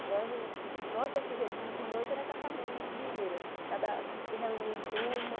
Então, o nosso objetivo de noite era catar manga nas mangueiras assim, se reunir em turma.